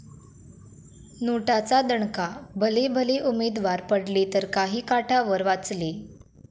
नोटा'चा दणका, भलेभले उमेदवार पडले तर काही काठावर वाचले!